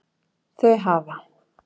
Þau hafa